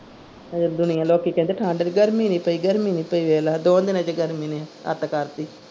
ਅਜੇ ਦੁਨੀਆ ਲੋਕੀ ਕਹਿੰਦੇ ਠੰਡ ਵੀ ਗਰਮੀ ਨੀ ਪਈ ਗਰਮੀ ਨੀ ਪਈ ਵੇਖਲਾ ਦੋ ਦੀਨਾ ਚ ਗਰਮੀ ਨੇ ਅੱਤ ਕਰਤੀ।